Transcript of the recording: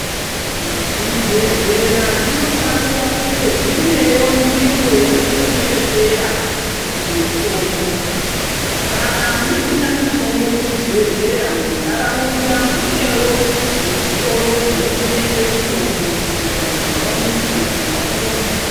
Zvibhedhlera zvinofanira kunge zvine wo nzvimbo yazvino chengetera mutombo kana musina mutombo muzvibhedhlera muntaraunda mune wozvitiro zvinotengesa mitombo kuti vanhu vawone kutenga vapone.